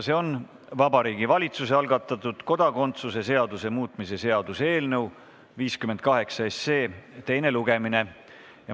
See on Vabariigi Valitsuse algatatud kodakondsuse seaduse muutmise seaduse eelnõu 58 teine lugemine.